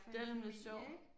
Det nemlig sjovt